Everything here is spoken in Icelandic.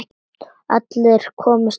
Allir komust þó inn.